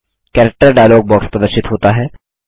character dialog box प्रदर्शित होता है